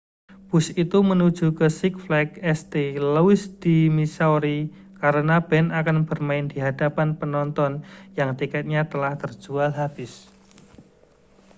bus itu menuju ke six flags st louis di missouri karena band akan bermain di hadapan penonton yang tiketnya telah terjual habis